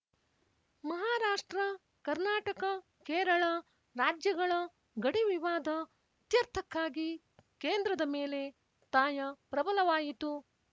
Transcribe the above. ಮಹಾರಾಷ್ಟ್ರಕರ್ನಾಟಕಕೇರಳ ರಾಜ್ಯಗಳ ಗಡಿವಿವಾದ ಇತ್ಯರ್ಥಕ್ಕಾಗಿ ಕೇಂದ್ರದ ಮೇಲೆ ಒತ್ತಾಯ ಪ್ರಬಲವಾಯಿತು